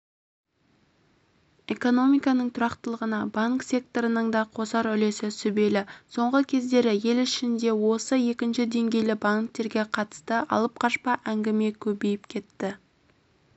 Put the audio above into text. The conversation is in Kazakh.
экономиканың тұрақтылығына банк секторының да қосар үлесі сүбелі соңғы кездері ел ішінде осы екінші деңгейлі банктерге қатысты алып-қашпа әңгіме көбейіп кетті